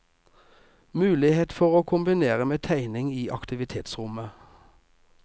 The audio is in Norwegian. Mulighet for å kombinere med tegning i aktivitetsrommet.